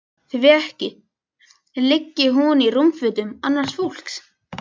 Því ekki liggi hún í rúmfötum annars fólks.